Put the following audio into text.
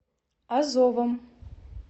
азовом